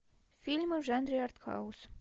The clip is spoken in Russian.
фильмы в жанре артхаус